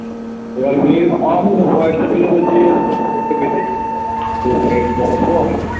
এবার মেয়ে একটু দেখুন তো মেয়েটার বয়েস কম